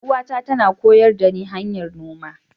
Yar'uwata tana koyar dani hanyar noma.